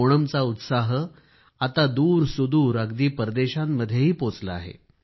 ओणमचा उत्साह आता दूरसुदूर अगदी परदेशांमध्येही पोचला आहे